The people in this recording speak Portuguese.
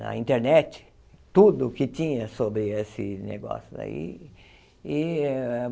na internet, tudo o que tinha sobre esse negócio daí e.